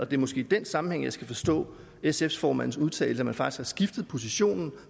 det er måske i den sammenhæng jeg skal forstå sf formandens udtalelse man har faktisk skiftet position